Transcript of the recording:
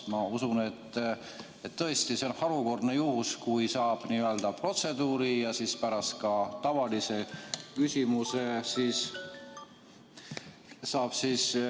Ma usun, et see on tõesti harukordne juhus, kui saab protseduurilise ja seejärel ka tavaküsimuse niimoodi jutti esitada.